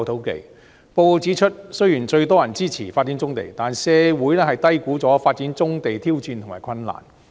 報告指出，雖然最多人支持發展棕地，但社會低估了發展棕地的挑戰及困難。